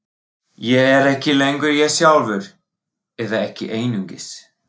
Ég er ekki lengur ég sjálfur, eða ekki einungis.